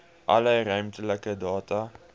alle ruimtelike data